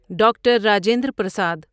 doctor Rajendra Prasad